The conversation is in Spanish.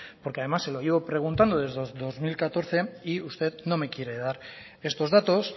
porque además se lo llevo preguntando desde el dos mil catorce y usted no me quiere dar estos datos